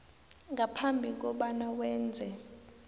ngaphambi kobana wenze